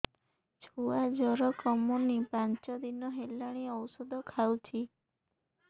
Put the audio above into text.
ଛୁଆ ଜର କମୁନି ପାଞ୍ଚ ଦିନ ହେଲାଣି ଔଷଧ ଖାଉଛି